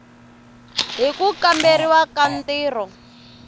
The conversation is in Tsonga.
hi ku kamberiwa ka ntirho